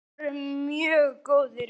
Við vorum mjög góðir vinir.